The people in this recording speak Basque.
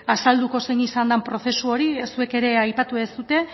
azalduko zein izan den prozesu hori zuek ere aipatu ez dute